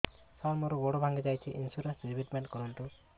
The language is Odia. ସାର ମୋର ଗୋଡ ଭାଙ୍ଗି ଯାଇଛି ଇନ୍ସୁରେନ୍ସ ରିବେଟମେଣ୍ଟ କରୁନ୍ତୁ